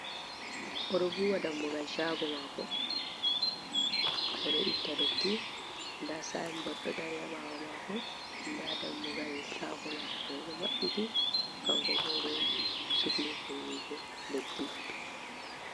Oɗo vuwa ɗammugal shago mako, oɗo itta ɗotti ɗa sainɓort ɓo ɗo ɗari haɓawo mako, ɗa ɗammugal shago mako moi ɗo maɓɓiti kanko ɓo ɗo sukli vuwugo leɗɗi.